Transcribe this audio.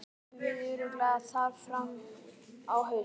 Æfum við ekki örugglega þar fram á haust?